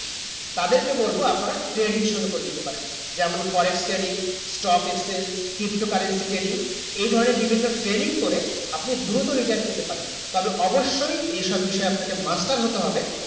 তাদের কে বলবো আপনারা trading শুরু করে দিতে পারেন যেমন forex trading stock exchange crypto currency trading এই ধরণে ভিন্ন trading করে আপনি দুরুক্ত return পেতে পারেন তবে অবশ্য এই সব বিষয়ে তে আপনাকে master হতে হবে